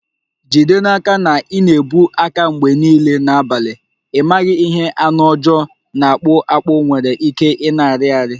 Jide n'aka na ị na-ebu aka mgbe niile n'abalị, ị maghị ihe anụ ọjọọ na-akpụ akpụ nwere ike ịna-arị arị